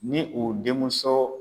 Ni o denmuso